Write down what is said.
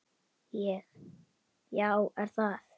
Ég: Já er það?